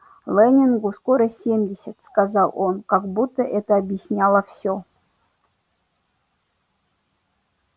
лэннингу скоро семьдесят сказал он как будто это объясняло всё